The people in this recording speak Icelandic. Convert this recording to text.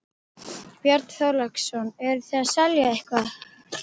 Björn Þorláksson: Eruð þið að selja eitthvað?